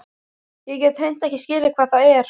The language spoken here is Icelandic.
Ég get hreint ekki skilið hvað það er.